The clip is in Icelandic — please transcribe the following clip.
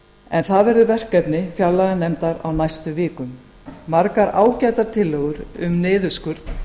en það verður verkefni fjárlaganefndar á næstu vikum margar ágætar tillögur um niðurskurð